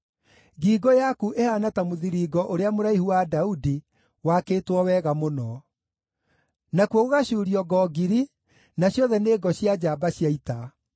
Ngingo yaku ĩhaana ta mũthiringo ũrĩa mũraihu wa Daudi, wakĩtwo wega mũno; nakuo gũgacuurio ngo ngiri, na ciothe nĩ ngo cia njamba cia ita.